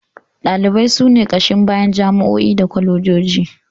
Ɗalibai su ne ƙashin bayan jami'o'i da kwalejoji